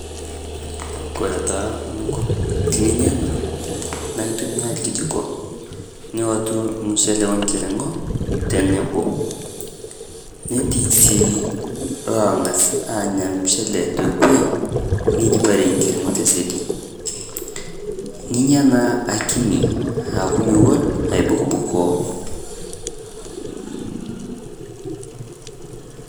kore taa ninko tininya ana naa intumiyaa lkejiko niwotuu lmuchele o nkiringo te noboo netii sii longaz anya lmuchele te kwee neijiparie lmuchele te sedi ninyaa naa akini aaku muwon aibukbukoo